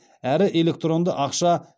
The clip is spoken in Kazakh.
әрі электронды ақша